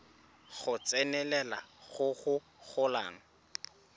go tsenelela go go golang